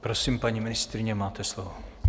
Prosím, paní ministryně, máte slovo.